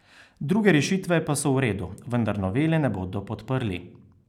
Druge rešitve pa so v redu, vendar novele ne bodo podprli.